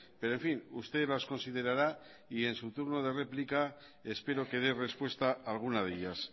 pero en fin usted las considerará y en su turno de réplica espero que dé respuesta alguna de ellas